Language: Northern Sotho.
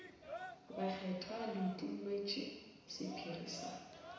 bakgethwa le utolletšwe sephiri sa